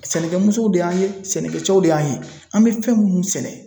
Sɛnɛkɛmusɛnw de y'an ye, sɛnɛkɛcɛw de y'an ye .An be fɛn munnu sɛnɛ